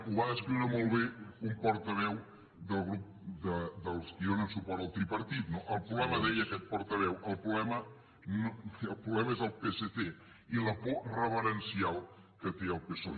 ho va descriure molt bé un portaveu del grup dels qui donen suport al tripartit no el problema deia aquest portaveu el problema és el psc i la por reverencial que té al psoe